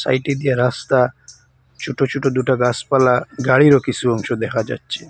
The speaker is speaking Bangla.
সাইডে দিয়া রাস্তা ছোট ছোট দুটা গাছপালা গাড়িরও কিছু অংশ দেখা যাচ্ছে।